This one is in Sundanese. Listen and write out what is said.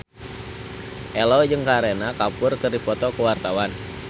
Ello jeung Kareena Kapoor keur dipoto ku wartawan